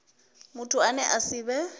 muthu ane a si vhe